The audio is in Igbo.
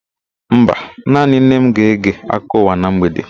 Mba, naanị nne m ga-ege akụkọ ụwa na mgbede.